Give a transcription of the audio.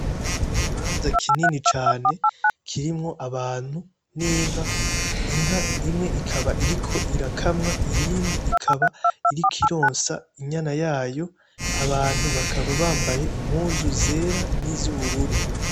Ikibanza kinini cane kirimwo abantu n'inka ,inka imwe ikaba iriko irakamwa, iyindi ikaba iriko ironsa inyana yayo, abantu bakaba bambaye impuzu zera n'izubururu.